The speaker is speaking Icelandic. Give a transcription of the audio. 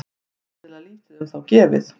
Greinilega lítið um þá gefið.